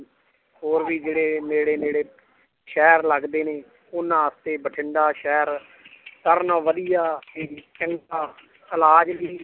ਹੋਰ ਵੀ ਜਿਹੜੇ ਨੇੜੇ ਨੇੜੇ ਸ਼ਹਿਰ ਲੱਗਦੇ ਨੇ ਉਹਨਾਂ ਵਾਸਤੇ ਬਠਿੰਡਾ ਸ਼ਹਿਰ ਸਾਰਿਆਂ ਨਾਲੋਂ ਵਧੀਆ